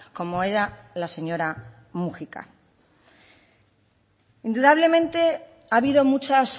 como era la señora múgica indudablemente ha habido muchas